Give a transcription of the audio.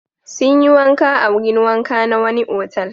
Sun yi wanka a wurin wanka na wani otal.